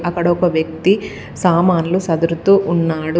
అక్కడ ఒక వ్యక్తి సామాన్లు సదురుతూ ఉన్నాడు.